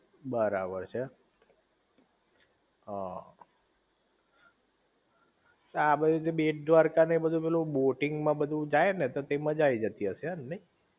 બરાબર છે હ આ બાજુ થી બેટ દ્વારકા ને બધુ પેલું બોટિંગ માં બધુ જાય ને તે મજા થઈ જતી હશે નઇ?